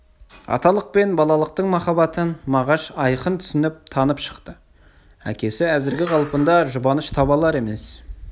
аталық пен балалықтың махаббаты мағаш айқын түсініп танып шықты әкесі әзіргі қалпында жұбаныш таба алар емес